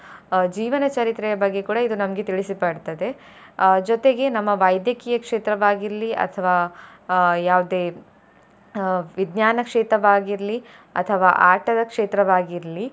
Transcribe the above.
ಅಹ್ ಜೀವನ ಚರಿತ್ರೆಯ ಬಗ್ಗೆ ಕೂಡಾ ಇದು ನಮ್ಗೆ ತಿಳಿಸಿ ಕೊಡ್ತದೆ ಅಹ್ ಜೊತೆಗೆ ನಮ್ಮ ವೈದ್ಯಕೀಯ ಕ್ಷೇತ್ರವಾಗಿರ್ಲಿ ಅಥವಾ ಅಹ್ ಯಾವ್ದೇ ಅಹ್ ವಿಜ್ನಾನ ಕ್ಷೇತ್ರವಾಗಿರ್ಲಿ ಅಥವಾ ಆಟದ ಕ್ಷೇತ್ರವಾಗಿರ್ಲಿ.